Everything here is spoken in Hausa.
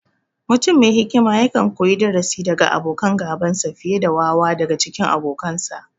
Mutum me hikima yakan koyi darasi daga abokan gabansa, fiye da wawa daga cikin abokansa.